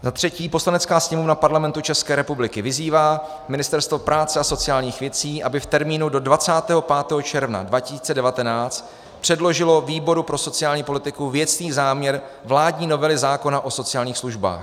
Za třetí: "Poslanecká sněmovna Parlamentu České republiky vyzývá Ministerstvo práce a sociálních věcí, aby v termínu do 25. června 2019 předložilo výboru pro sociální politiku věcný záměr vládní novely zákona o sociálních službách.